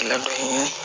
Labɛn